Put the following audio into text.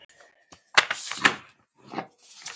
Hver veit hvar við endum?